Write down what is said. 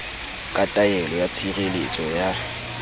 ka taelo ya tshireletso ya